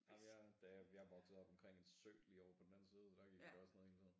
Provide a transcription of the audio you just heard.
Ej men jeg da jeg jeg voksede op omkring en sø lige på den anden side så der gik vi da også ned hele tiden